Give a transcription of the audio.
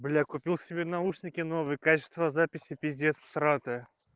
бля купил себе наушники новые качество записи пиздец всратое